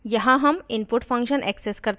यहाँ हम input function access करते हैं